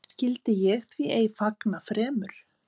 Skyldi ég því ei fagna fremur?